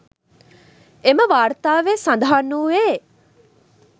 එම වාර්තාවේ සඳහන් වූයේ